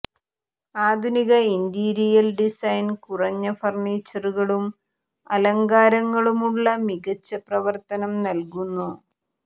ആധുനിക interior design കുറഞ്ഞ ഫർണിച്ചറുകളും അലങ്കാരങ്ങളുമുള്ള മികച്ച പ്രവർത്തനം നൽകുന്നു